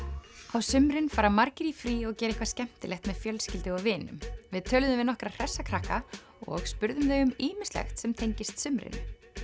á sumrin fara margir í frí og gera eitthvað skemmtilegt með fjölskyldu og vinum við töluðum við nokkra hressa krakka og spurðum þau um ýmislegt sem tengist sumrinu